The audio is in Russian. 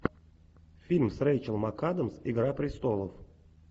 фильм с рэйчел макадамс игра престолов